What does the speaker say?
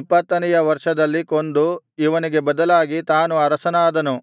ಇಪ್ಪತ್ತನೆಯ ವರ್ಷದಲ್ಲಿ ಕೊಂದು ಇವನಿಗೆ ಬದಲಾಗಿ ತಾನು ಅರಸನಾದನು